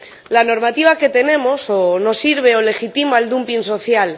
La normativa que tenemos, o no sirve o legitima el dumping social